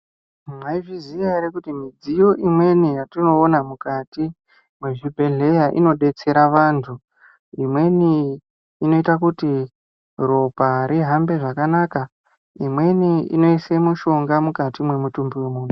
Mwayiziziya here kuti midziyo imweni yatinowona mukati mezvibhedhleya inodetsera vantu. Imweni inoyita kuti ropa rihambe zvakanaka. Imweni inoyise mushonga mukati memutumbi wemuntu.